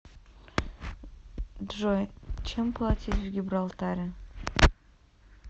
джой чем платить в гибралтаре